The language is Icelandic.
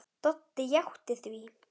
Doddi játti því.